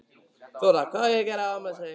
Þóra: Hvað á að gera á afmælisdaginn?